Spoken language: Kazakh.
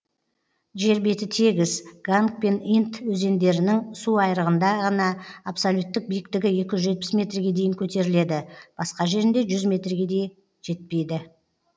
жер беті тегіс ганг пен инд өзендерінің су айырығында ғана абсолюттік биіктігі екі жүз жетпіс метрге дейін көтеріледі басқа жерінде жүз метрге жетпейді